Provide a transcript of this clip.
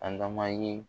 Adama ye